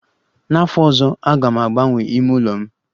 N'afọ ọzọ, aga m agbanwee ime ụlọ m